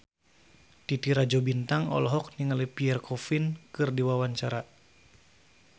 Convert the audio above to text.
Titi Rajo Bintang olohok ningali Pierre Coffin keur diwawancara